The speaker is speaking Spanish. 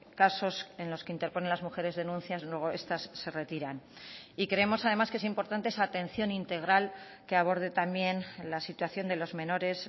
casos en los que interponen las mujeres denuncias luego estas se retiran y creemos además que es importante esa atención integral que aborde también la situación de los menores